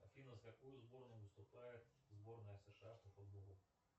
афина за какую сборную выступает сборная сша по футболу